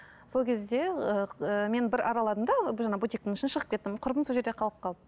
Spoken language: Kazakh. сол кезде ыыы мен бір араладым да жаңағы бутиктің ішін шығып кеттім құрбым сол жерде қалып қалды